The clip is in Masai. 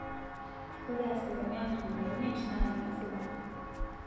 Ore asilimia ntomoni miet na nemesipa